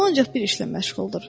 O ancaq bir işlə məşğuldur.